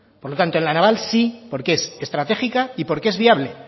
por lo tanto la naval sí porque es estratégica y porque es viable